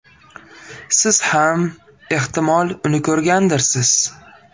Siz ham ehtimol uni ko‘rgandirsiz.